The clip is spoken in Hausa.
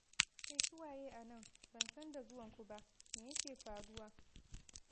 Kai su waye a nan, ban san da zuwanku ba, me yake faruwa?